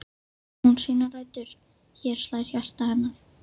Hér á hún sínar rætur, hér slær hjarta hennar.